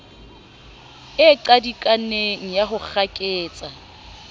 e qadikaneng ya ho kgaketsa